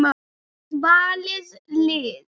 Valið lið.